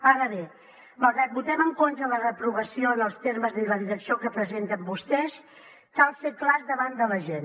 ara bé malgrat que votem en contra la reprovació en els termes i la direcció que presenten vostès cal ser clars davant de la gent